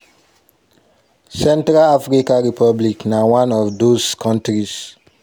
central african republic na one of those kontris."